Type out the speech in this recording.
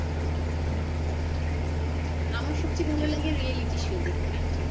আমার সব চেয়ে reality show দেখতে